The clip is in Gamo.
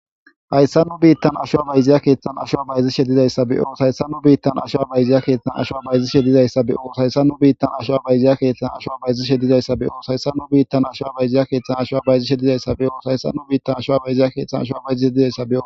Hayssa nu biittan asho abayziya keeththan asho abayzi shedizayssa be7o shayssa nu biittan asho abayziya keeththan asho abayzi shedizayssa be7oosayssa nu biittan asho abayziya keeththan asho abayzi shedizayssa be7oo hayssa nu biittan asho abayziya keeththan asho abayzi shedizayssa be7oo sayssa nu biittan asho abayziya keeththan asho bayzishe dizayssako.